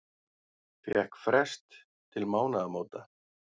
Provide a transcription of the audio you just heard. Fékk frest til mánaðamóta